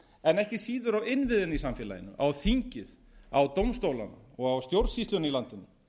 en ekki síður á innviðina í samfélaginu á þingið á dómstólana og á stjórnsýsluna í landinu